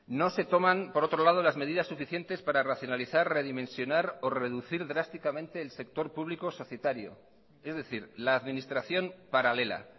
no se toman por otro lado las medidas suficientes para racionalizar redimensionar o reducir drásticamente el sector público societario es decir la administración paralela